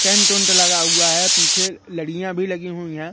Tent वोन्ट लगा हुआ है पीछे लड़ियां भी लगी हुई हैं।